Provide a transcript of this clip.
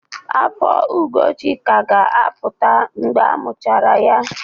Afọ Ugochi ka ga-apụta mgbe amuchara ya.